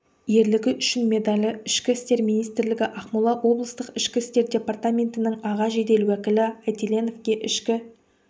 ерлігі үшін медалі ішкі істер министрлігі ақмола облыстық ішкі істер департаментінің аға жедел уәкілі айтеленовке ішкі